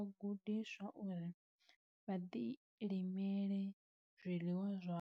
Vha a gudiswa uri vha ḓilimele zwiḽiwa zwavho.